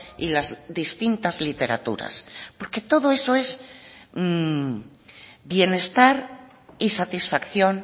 y las distintas literaturas porque todo eso es bienestar y satisfacción